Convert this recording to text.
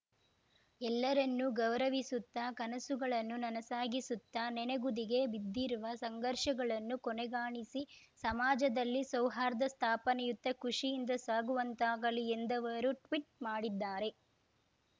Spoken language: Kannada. ಎಲ್ಲರನ್ನೂ ಗೌರವಿಸುತ್ತಾ ಕನಸುಗಳನ್ನು ನನಸಾಗಿಸುತ್ತಾ ನೆನೆಗುದಿಗೆ ಬಿದ್ದಿರುವ ಸಂಘರ್ಷಗಳನ್ನು ಕೊನೆಗಾಣಿಸಿ ಸಮಾಜದಲ್ಲಿ ಸೌಹಾರ್ದ ಸ್ಥಾಪನೆಯತ್ತ ಖುಷಿಯಿಂದ ಸಾಗುವಂತಾಗಲಿ ಎಂದವರು ಟ್ವೀಟ್ ಮಾಡಿದ್ದಾರೆ